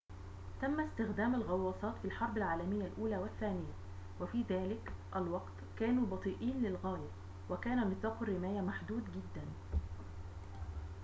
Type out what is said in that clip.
تمّ استخدام الغوّاصات في الحرب العالميّة الأولى والثّانية وفي ذلك الوقت كانوا بطيئين للغاية وكان نطاق الرّماية محدوداً جداً